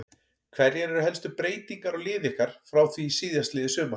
Hverjar eru helstu breytingar á liði ykkar frá því síðastliðið sumar?